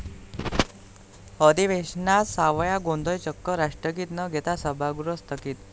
अधिवेशनात सावळा गोंधळ, चक्क राष्ट्रगीत न घेता सभागृह स्थगित